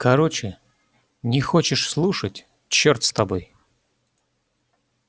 короче не хочешь слушать чёрт с тобой